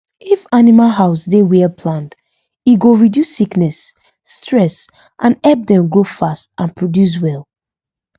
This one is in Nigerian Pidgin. if animal house dey well planned e go reduce sickness stress and help dem grow fast and produce well